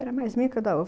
Era mais minha que da